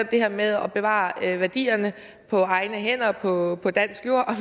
det her med at bevare værdierne på egne hænder og på dansk jord